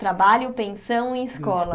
Trabalho, pensão e escola.